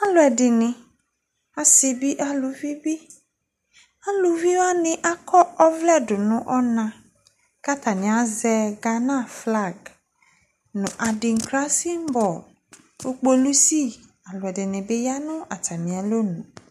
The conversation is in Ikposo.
alʋɛdini, asii bi alʋvi bi, alʋvi wani akɔ ɔvlɛ tʋnʋ ɔna kʋ atani azɛ Ghana flag nʋ adinkra symbol kʋ pɔlisi ɛdini bi yanʋ atami alɔnʋ